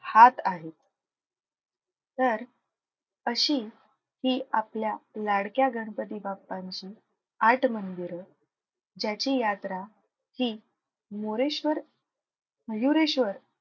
हाथ आहेत. तर अशी हि आपल्या लाडक्या गणपती बाप्पांची आठ मंदिरं ज्याची यात्रा हि मोरेश्वर मयुरेश्वर,